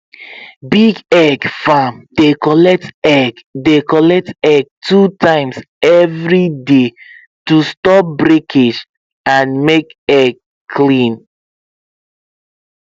big egg farm dey collect egg dey collect egg two times every day to stop breakage and make egg clean